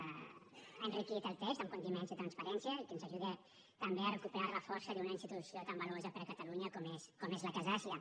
ha enriquit el text amb condiments de transparència i que ens ajuda també a recuperar la força d’una institució tan valuosa per a catalunya com és la casa àsia